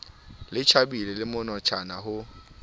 le tjhabile le monatjana ho